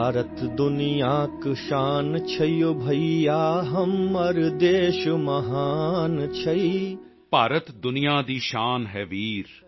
ਭਾਰਤ ਦੁਨੀਆਂ ਦੀ ਸ਼ਾਨ ਹੈ ਵੀਰ